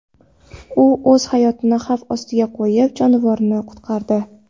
U o‘z hayotini xavf ostiga qo‘yib, jonivorni qutqardi.